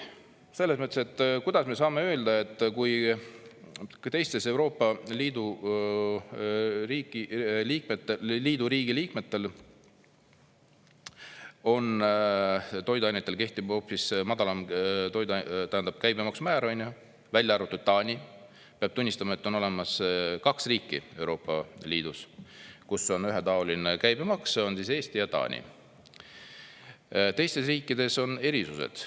Selles mõttes, et kuidas me saame öelda, et kui ka teistes Euroopa Liidu liikmesriikidel toiduainetel kehtib hoopis madalam käibemaksu määr, välja arvatud Taani – peab tunnistama, et on olemas kaks riiki Euroopa Liidus, kus on ühetaoline käibemaks: Eesti ja Taani, teistes riikides on erisused.